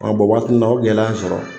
Ɔ waati ninnu na o gɛlɛya ye n sɔrɔ